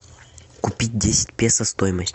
купить десять песо стоимость